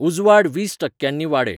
उजवाड वीस टक्क्यांनी वाडय